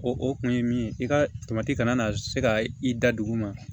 O o kun ye min ye i ka kana na se ka i da duguma